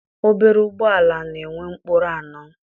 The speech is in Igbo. Obere ụgbọala na-enwe ụkpụrụ anọ.